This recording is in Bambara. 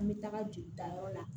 An bɛ taga jolitayɔrɔ la